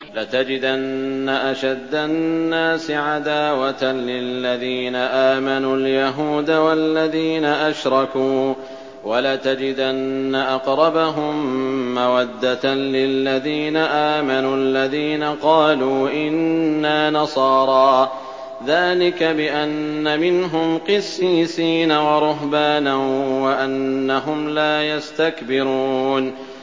۞ لَتَجِدَنَّ أَشَدَّ النَّاسِ عَدَاوَةً لِّلَّذِينَ آمَنُوا الْيَهُودَ وَالَّذِينَ أَشْرَكُوا ۖ وَلَتَجِدَنَّ أَقْرَبَهُم مَّوَدَّةً لِّلَّذِينَ آمَنُوا الَّذِينَ قَالُوا إِنَّا نَصَارَىٰ ۚ ذَٰلِكَ بِأَنَّ مِنْهُمْ قِسِّيسِينَ وَرُهْبَانًا وَأَنَّهُمْ لَا يَسْتَكْبِرُونَ